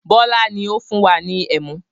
Bọlá ni ó fún wa ní ẹmu